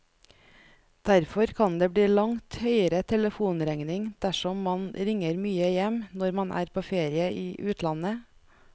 Derfor kan det bli langt høyere telefonregning dersom man ringer mye hjem når man er på ferie i utlandet.